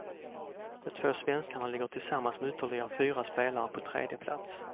De två svenskarna ligger tillsammans med ytterligare fyra spelare på tredje plats.